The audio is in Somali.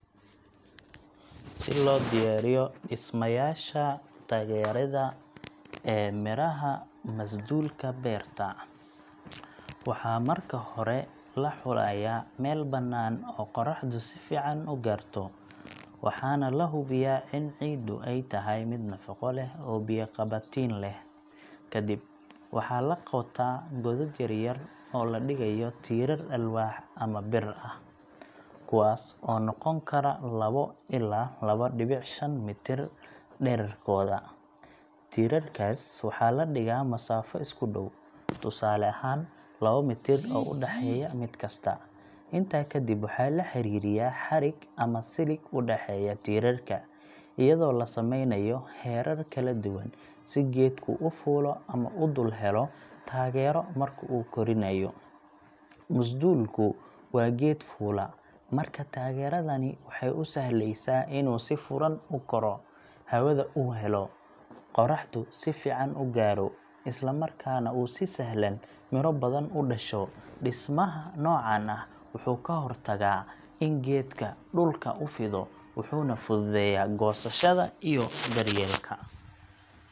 Si loo diyaariyo dhismayaasha taageerada ee miraha masduulka beerta, waxaa marka hore la xulayaa meel bannaan oo qoraxdu si fiican u gaarto, waxaana la hubiyaa in ciiddu ay tahay mid nafaqo leh oo biyo-qabatin leh. Kadib, waxaa la qotaa godad yar yar oo la dhigayo tiirar alwaax ah ama bir ah, kuwaas oo noqon kara lawo ilaa mitir dhererkooda. Tiirarkaas waxaa la dhigaa masaafo isku dhow, tusaale ahaan, lawo mitir u dhexeeya mid kasta. Intaa kadib, waxaa la xiriyaa xadhig ama silig u dhexeeya tiirarka, iyadoo la sameynayo heerar kala duwan si geedku u fuulo ama u dul helo taageero marka uu koriinayo. Masduulku waa geed fuula, markaa taageeradani waxay u sahlaysaa inuu si furan u korro, hawada u helo, qorraxda si fiican u gaaro, isla markaana uu si sahlan miro badan u dhasho. Dhismaha noocan ah wuxuu ka hortagaa in geedka dhulka u fido, wuxuuna fududeeyaa goosashada iyo daryeelka.